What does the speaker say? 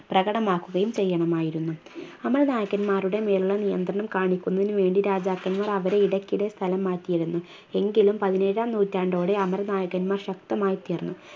പ്രകടമാക്കുകയും ചെയ്യണമായിരുന്നു അമര നായകന്മാരുടെ മേലുള്ള നിയന്ത്രണം കാണിക്കുന്നതിന് വേണ്ടി രാജാക്കൻമാർ അവരെ ഇടക്കിടെ സ്ഥലം മാറ്റിയിരുന്നു എങ്കിലും പതിനേഴാം നൂറ്റാണ്ടോടെ അമര നായകന്മാർ ശക്തമായി തീർന്നു